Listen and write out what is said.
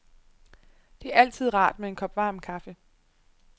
Det er altid rart med en kop varm kaffe.